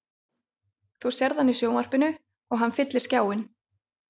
Þú sérð hann í sjónvarpinu og hann fyllir skjáinn.